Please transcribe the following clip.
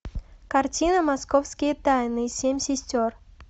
картина московские тайны семь сестер